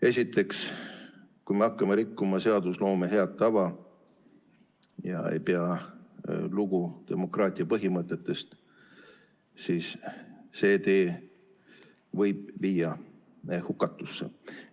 Esiteks, kui me hakkame rikkuma seadusloome head tava ega pea lugu demokraatia põhimõtetest, siis see tee võib viia hukatusse.